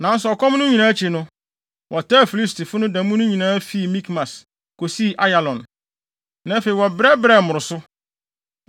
Nanso ɔkɔm no nyinaa akyi, wɔtaa Filistifo no da mu no nyinaa fi Mikmas, kosii Ayalon. Na afei, wɔbrɛbrɛɛ mmoroso.